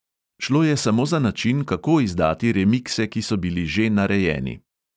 Šlo je samo za način, kako izdati remikse, ki so bili že narejeni.